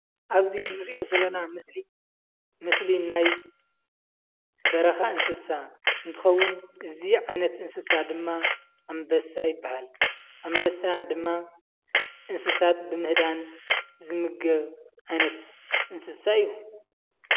ኣብዚ እንሪኦ ዘለና ምስሊ፣ ምስሊ ናይ በረኻ እንስሳ እንትከውን እዚ እንስሳ ድማ ኣንበሳ ይባሃል። ኣንበሳ ድማ እንስሳት ብምህዳን ዝምገብ ዓይነት እንስሳ እዩ።